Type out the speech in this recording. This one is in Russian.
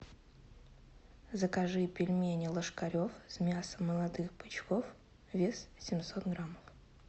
закажи пельмени ложкарев с мясом молодых бычков вес семьсот грамм